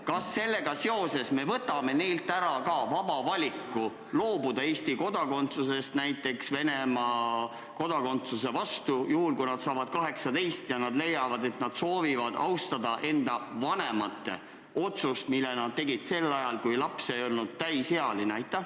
Kas me sellega seoses võtame neilt ära vaba valiku loobuda Eesti kodakondsusest näiteks Venemaa kodakondsuse vastu, kui nad saavad 18 ja leiavad, et nad soovivad austada enda vanemate otsust, mille nood tegid sel ajal, kui laps ei olnud täisealine?